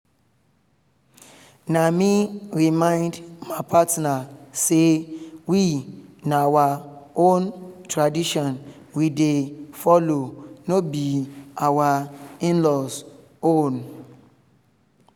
na me remind my partner say we na our own tradition we dey follow no be our in-laws own